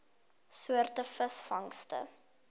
soort visvangste